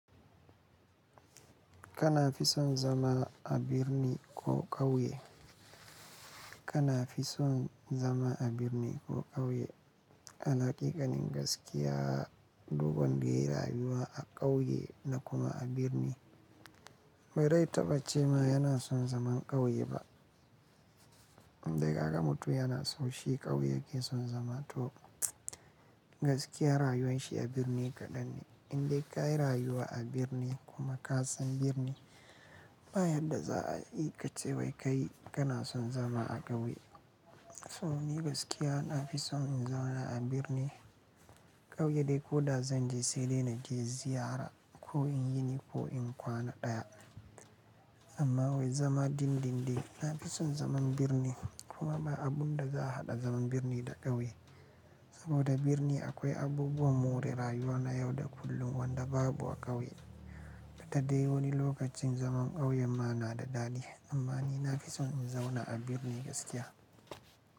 Kana fison zama a birni ko ƙauye? Kana fison zama a birni ko ƙauye? Alhaƙiƙa nin gaskiya, duk wanda yayi rayuwa a ƙauye da kuma a birni. Bare taɓa ce ma yana son zaman ƙauye ba. Indai ka ka mutu yana son shi ƙauye ke son zama to gaskiya rayuwan shi a birni kaɗan ne. Indai ka yi rayuwa a birni kuma ka son birni ba yanda za ai, i kace wai kai kana son zama a ƙauye. To ni gaskiya na fi son in zauna a birnin. Ƙauye dai ko da zan je sai dai naje ziyara ko in yi ko in kwana ɗaya. Amma wai zama din-din na fi son zaman birnin, kuma ba abun da za a haɗa zaman birni da ƙauye. Saboda birni akwai abubuwan more rayuwa na yau da kullum wanda babu a ƙauye. Ita dai wani lokacin zaman ƙauyen ma na da dadi. Amma ni na fi son in zauna a birni gaskiya.